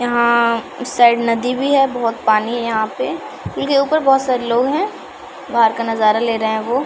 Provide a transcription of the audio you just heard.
यहाँ उस साइड नदी भी है बहुत पानी है यहाँ पे उनके ऊपर बहुत सारे लोग हैं बाहर का नज़ारा ले रहे हैं वो ।